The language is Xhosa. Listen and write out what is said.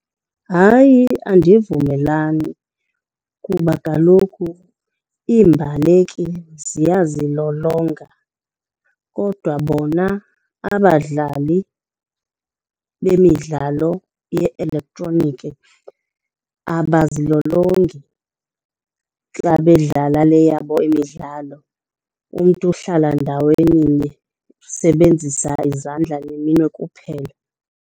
Hayi, andivumelani kuba kaloku iimbaleki ziyazilolonga kodwa bona abadlali bemidlalo ye-elektroniki abazilolongi xa bedlala le yabo imidlalo. Umntu uhlala ndaweninye, usebenzisa izandla neminwe kuphela.